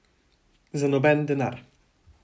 Za noben denar.